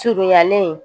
Surunyalen